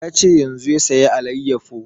Ya ce yanzun ya saya alayyafo